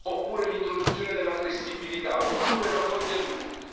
oppure l'introduzione della flessibilità, oppure la golden rule